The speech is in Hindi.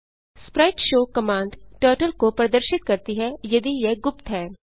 स्प्राइटशो कमांड टर्टल को प्रदर्शित करती है यदि यह गुप्त है